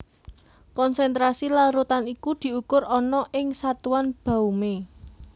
Konsentrasi larutan iku diukur ana ing satuan baumé